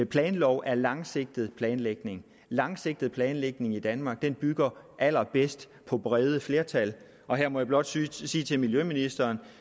planlov er langsigtet planlægning langsigtet planlægning i danmark bygger allerbedst på brede flertal og her må jeg blot sige til sige til miljøministeren